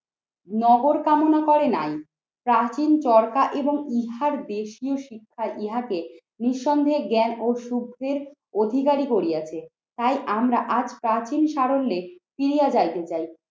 নগর কামনা করে নাই প্রাচীন চরকা এবং ইহার দেশীয় শিক্ষায় ইহাকে নিঃসন্দেহে জ্ঞান ও সূর্যের অধিকারী করিয়াছে। তাই আমরা আজ প্রাচীন সারণ্যে ফিরিয়া যাইতে চাই।